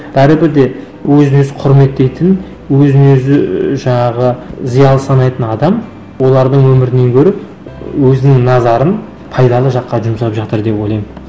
бәрібір де өзін өзі құрметтейтін өзін өзі ііі жаңағы зиялы санайтын адам олардың өмірінен гөрі өзінің назарын пайдалы жаққа жұмсап жатыр деп ойлаймын